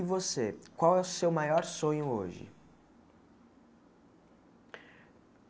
E você, qual é o seu maior sonho hoje?